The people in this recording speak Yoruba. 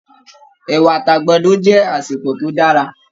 Ẹ̀wà àti àgbàdo jẹ asepọ tó dára.